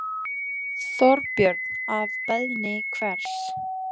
Þorbjörn: Að beiðni hvers?